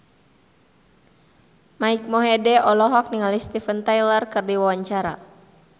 Mike Mohede olohok ningali Steven Tyler keur diwawancara